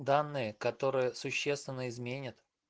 данные которые существенно изменят